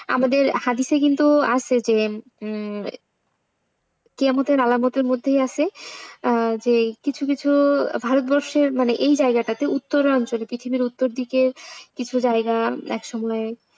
আমাদের হাদিসে কিন্তু আছে যে হম আছে যে কিছু কিছু ভারতবর্ষের মানে এই জায়গাটাতে উত্তরাঞ্চল পৃথিবীর উত্তর দিকে কিছু জায়গা একসময়,